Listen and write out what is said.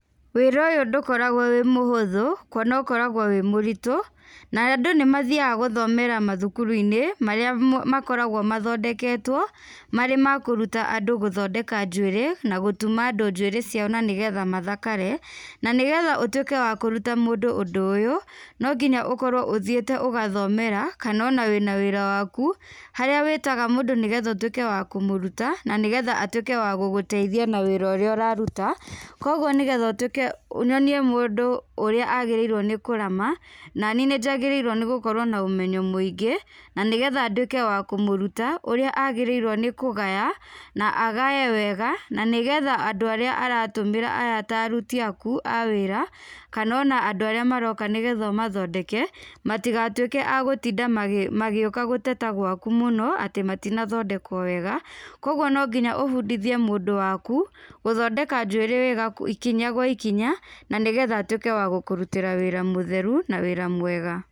Wĩra ũyũ ndũkoragwo wĩ múhũthũ, kuona ũkoragwo wĩ mũritũ, na andũ nĩmathiaga gũthomera mathukuru-inĩ marĩa mo makoragwo mathondeketwo, marĩ ma kũruta andũ gũthondeka njuĩrĩ, na gũtuma andũ njuĩrĩ ciao na nĩgetha mathakare, nanĩgetha ũtwĩke wa kũruta mũndũ ũndũ ũyũ, nonginya ũkorwo ũthiĩte ũgathomera, kanona wĩna wĩra waku, harĩa wĩtaga mũndũ nĩgetha ũtwĩke wa kũmũruta, nanĩgetha atwĩke wa gũgũteithia na wĩra úrĩa ũraruta, koguo nĩgetha ũtwĩke o nyonie mũndũ ũrĩa agĩrĩirwo nĩ kũrama, nanii nĩnjagĩrĩirwo nĩgũkorwo nomenyo mũingĩ, nanĩgetha ndwĩke wa kũmũruta ũrĩa agĩrĩirwo nĩkũgaya, na agae wega, nanĩgetha andũ arĩa aratũmĩra aya ta aruti aku a wĩra, kanona andũ arĩa maroka nĩgetha ũmathondeke, matigatwĩke agũtinda magĩ magĩũka gũteta gwaku mũno, atĩ matinathondekwo wega, kwoguo nonginya ũbundithie mũndũ waku gũthondeka njwĩrĩ wega kũ ikinya gwa ikinya, nanĩgetha atuĩke wa gũkũrutĩra wĩra mũtheru na wĩra mwega.